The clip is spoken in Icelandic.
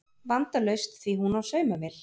Vandalaust því hún á saumavél